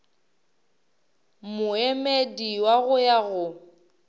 moemedi wa go ya go